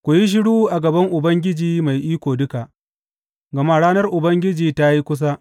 Ku yi shiru a gaban Ubangiji Mai Iko Duka, gama ranar Ubangiji ta yi kusa.